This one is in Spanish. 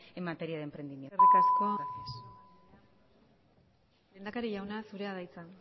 en materia de emprendimiento gracias eskerrik asko lehendakari jauna zurea da hitza